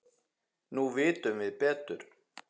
Nú vitum við betur.